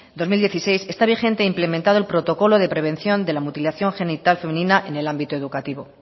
dos mil dieciséis está vigente implementado el protocolo de prevención de la mutilación genital femenina en el ámbito educativo